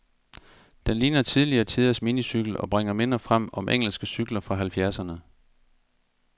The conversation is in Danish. Den ligner tidligere tiders minicykel, og bringer minder frem om engelske cykler fra halvfjerdserne.